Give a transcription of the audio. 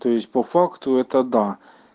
то есть по факту это да